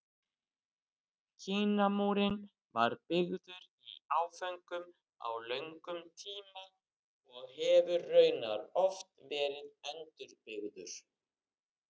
Kínamúrinn var byggður í áföngum á löngum tíma og hefur raunar oft verið endurbyggður.